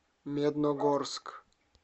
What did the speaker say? медногорск